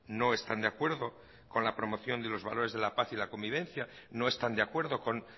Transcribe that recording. no están de acuerdo con la promoción de los valores de la paz y la convivencia no están de acuerdo con